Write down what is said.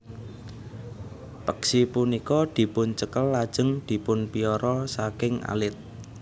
Peksi punika dipuncekel lajeng dipunpiara saking alit